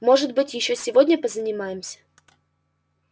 может быть ещё сегодня позанимаемся